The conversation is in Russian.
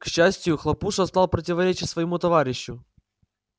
к счастию хлопуша стал противоречить своему товарищу